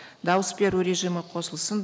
дауыс беру режимі қосылсын